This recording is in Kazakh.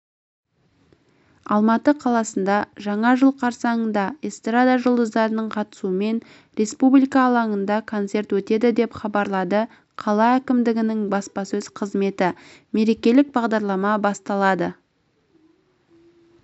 алматы қаласында жаңа жыл қарсаңында эстрада жұлдыздарының қатысуымен республика алаңында концерт өтеді деп хабарлады қала әкімдігінің баспасөз қызметі мерекелік бағдарлама басталады